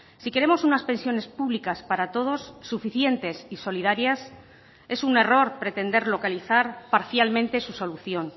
si queremos unas pensiones públicas para todos suficientes y solidarias es un error pretender localizar parcialmente su solución